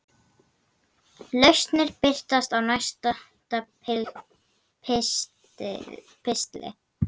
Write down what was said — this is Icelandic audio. Lausnir birtast í næsta pistli.